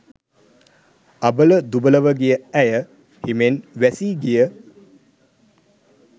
අබල දුබලව ගිය ඇය හිමෙන් වැසී ගිය